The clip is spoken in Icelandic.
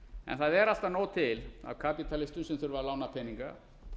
en það er alltaf nóg til af kapítalistum sem þurfa að lána peninga